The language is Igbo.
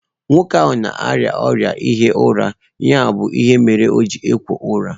Nwoke ahụ na-arịa ọrịa ihi ụra ya bụ ihe mere o ji ekwo úra